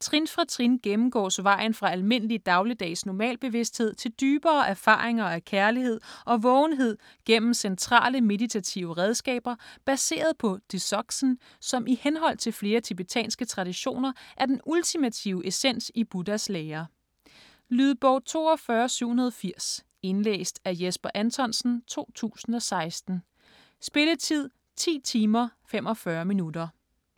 Trin for trin gennemgås vejen fra almindelig dagligdags normalbevidsthed til dybere erfaringer af kærlighed og vågenhed gennem centrale meditative redskaber baseret på dzogchen, som i henhold til flere tibetanske traditioner er den ultimative essens i Buddhas lære. Lydbog 42780 Indlæst af Jesper Anthonsen, 2016. Spilletid: 10 timer, 45 minutter.